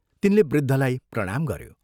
तिनले वृद्धलाई प्रणाम गऱ्यो।